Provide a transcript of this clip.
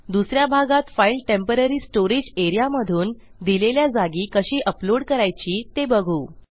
दुस या भागात फाईलtemporary स्टोरेज एआरईए मधून दिलेल्या जागी कशी अपलोड करायची ते बघू